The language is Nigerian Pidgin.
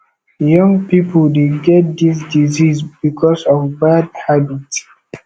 young people dey get this disease because of bad habits